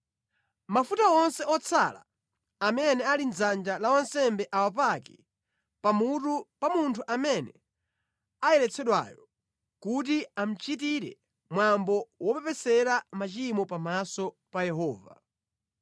Mafuta onse otsala amene ali mʼdzanja la wansembe awapake pamutu pa munthu amene ayeretsedweyo kuti amuchitire mwambo wopepesera machimo pamaso pa Yehova.